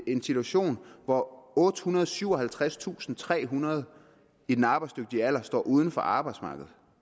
en situation hvor ottehundrede og syvoghalvtredstusindtrehundrede i den arbejdsdygtige alder står uden for arbejdsmarkedet